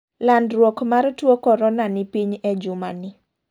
Landruok mar tuo korona ni piny e juma ni.